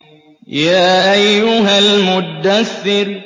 يَا أَيُّهَا الْمُدَّثِّرُ